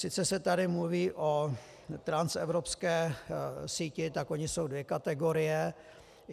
Sice se tady mluví o transevropské síti, tak ony jsou dvě kategorie.